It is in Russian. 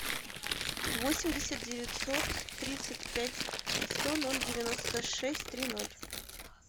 восемьдесят девятьсот тридцать пять сто ноль девяносто шесть три ноль